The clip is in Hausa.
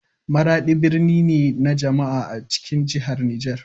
Maradi birni ne na jama'a a cikin jihar Niger.